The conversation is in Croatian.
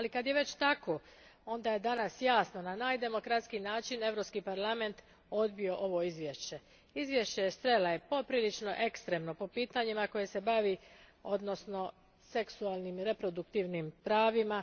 Ali kad je već tako, onda je danas jasno, na najdemokratskiji način, Europski parlament odbio ovo izvješće. Izvješće Estrela poprilično je ekstremno po pitanjima kojima se bavi, odnosno seksualnim i reproduktivnim pravima.